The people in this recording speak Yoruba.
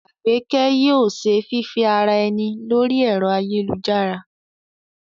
Àgbékẹ́ yóò ṣe fífẹ́ ara ẹni lórí ẹ̀rọ ayélujára